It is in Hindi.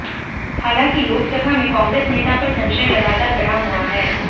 हालांकि लोकसभा में कांग्रेस नेता पर संशय लगातार बना हुआ है